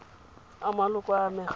a maloko a a amegang